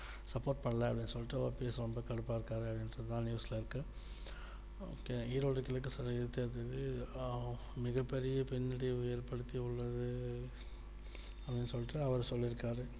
support பண்ணல அப்படின்னு சொல்லிட்டு OPS வந்து கடுப்பா இருக்காரு அப்படின்னு சொல்லிதா news ல இருக்கு okay ஈரோடு கிழக்கு சட்டசபை தேர்தலில் ஆஹ் மிகப்பெரிய பிண்ணடைவு ஏற்படுத்தி உள்ளது அப்படின்னு சொல்லிட்டு அவர் சொல்லி இருக்காரு